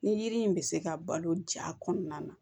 Ni yiri in bɛ se ka balo ja kɔnɔna na